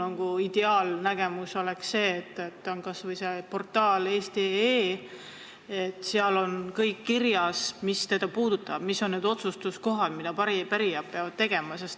Minu ideaalnägemus on see, et kas või portaalis eesti.ee oleks kõik kirjas, mis seda puudutab ja mis on need asjad, mille kohta pärijad peavad otsuse tegema.